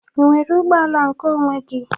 Ị nwere ụgbọ ala nke onwe gi?